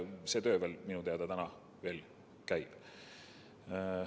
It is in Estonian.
See töö minu teada veel käib.